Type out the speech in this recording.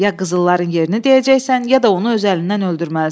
Ya qızılların yerini deyəcəksən, ya da onu öz əlindən öldürməlisən.